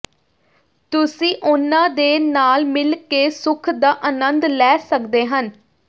ਤੁਸੀ ਉਨ੍ਹਾਂ ਦੇ ਨਾਲ ਮਿਲਕੇ ਸੁਖ ਦਾ ਆਨੰਦ ਲੈ ਸੱਕਦੇ ਹਨ